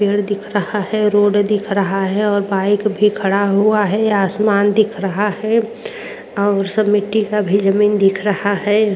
पेड़ दिख रहा है रोड दिख रहा है और बाइक भी खड़ा हुआ है। आसमान दिख रहा है और सब मिट्टी का भी जमीन दिख रहा है।